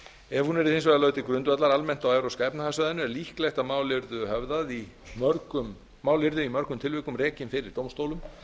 ef hún yrði hins vegar lögð til grundvallar almennt á evrópska efnahagssvæðinu er líklegt að mál yrðu í mörgum tilvikum rekin fyrir dómstólum